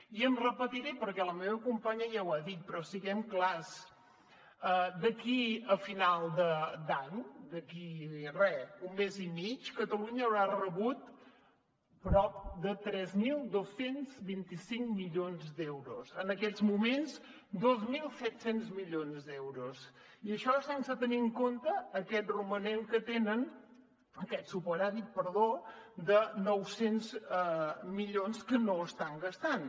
i em repetiré perquè la meva companya ja ho ha dit però siguem clars d’aquí a final d’any d’aquí a re un mes i mig catalunya haurà rebut prop de tres mil dos cents i vint cinc milions d’euros en aquests moments dos mil set cents milions d’euros i això sense tenir en compte aquest romanent que tenen aquest superàvit perdó de nou cents milions que no estan gastant